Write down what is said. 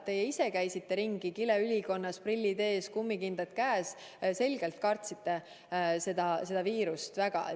Teie ise käisite ringi kileülikonnas, prillid ees, kummikindad käes, selgelt kartsite seda viirust väga.